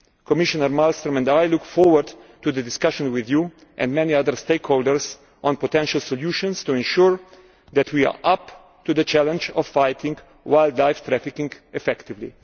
Commissioner Malmström and I look forward to the discussion with you and many other stakeholders on potential solutions to ensure that we are up to the challenge of fighting wildlife trafficking effectively.